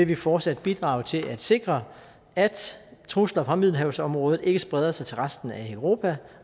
vi fortsat bidrager til at sikre at trusler fra middelhavsområdet ikke spreder sig til resten af europa